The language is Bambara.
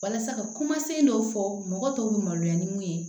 Walasa ka kuma se dɔw fɔ mɔgɔ tɔw bɛ maloya ni mun ye